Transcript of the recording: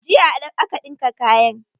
Jiya aka ɗinka kayan.